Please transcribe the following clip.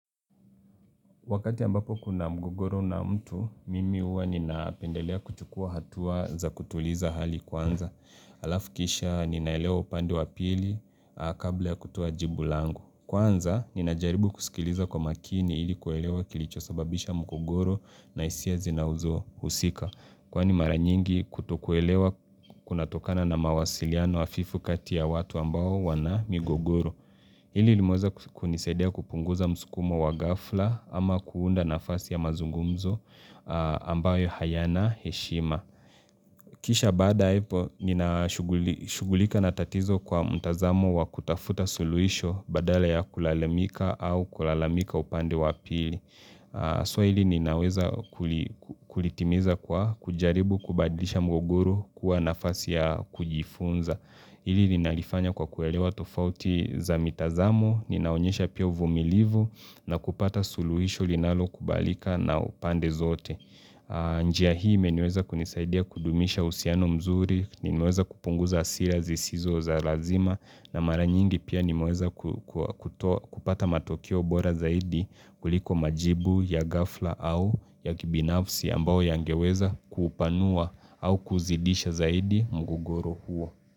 Wakati ambapo kuna mgogoro na mtu, mimi huwa ninapendelea kuchukua hatua za kutuliza hali kwanza. Alafu kisha ninaelewa upande wa pili, kabla ya kutoa jibu langu. Kwanza, ninajaribu kusikiliza kwa makini ili kuelewa kilicho sababisha mgogoro na hisia zinazo husika. Kwani mara nyingi kutokuelewa kunatokana na mawasiliano hafifu kati ya watu ambao wana migogoro. Hili limeweza kunisaidia kupunguza msukumo wa ghafla ama kuunda nafasi ya mazungumzo ambayo hayana heshima. Kisha baada hapo nina shughulika na tatizo kwa mtazamo wa kutafuta suluisho badala ya kulalamika au kulalamika upande wapili. So hili ninaweza kulitimiza kwa kujaribu kubadilisha mgogoru kuwa nafasi ya kujifunza. Ili linalifanya kwa kuelewa tofauti za mitazamu, ninaonyesha pia uvumilivu na kupata suluhisho linalo kubalika na upande zote. Njia hii imeniweza kunisaidia kudumisha uhusiano mzuri, nimeweza kupunguza hasira zisizo za lazima na maranyingi pia nimeweza kupata matokeo bora zaidi kuliko majibu ya ghafla au ya kibinafsi ambao yangeweza kupanua au kuzidisha zaidi mgogoro huo.